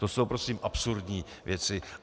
To jsou prosím absurdní věci.